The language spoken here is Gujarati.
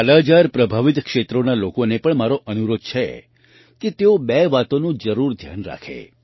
કાલાજાર પ્રભાવિત ક્ષેત્રોના લોકોને પણ મારો અનુરોધ છે કે તેઓ બે વાતોનું જરૂર ધ્યાન રાખે